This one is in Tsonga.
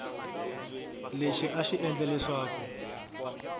lexi a xi endla leswaku